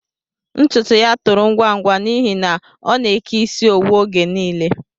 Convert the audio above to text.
Ntụtụ yá tòrò ngwa ngwa n'ihi na ọ na-eke isi owu oge nile